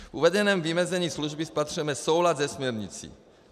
V uvedeném vymezení služby spatřujeme soulad se směrnicí.